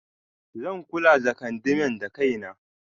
Zan kula the kandamin dakaina.